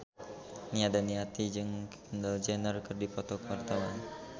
Nia Daniati jeung Kendall Jenner keur dipoto ku wartawan